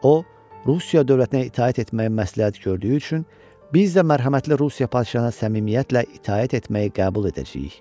O, Rusiya dövlətinə itaət etməyi məsləhət gördüyü üçün biz də mərhəmətli Rusiya padşahına səmimiyyətlə itaət etməyi qəbul edəcəyik.